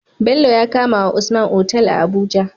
Bello ya kamawa usman Otal a abuja